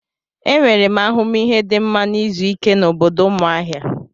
Enwere m ahụmihe dị mma na izu ike na obodo Umuahia.